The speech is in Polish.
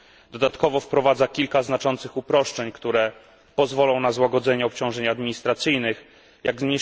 Dodatkowo wprowadza kilka znaczących uproszczeń, które pozwolą na złagodzenie obciążeń administracyjnych, jak np.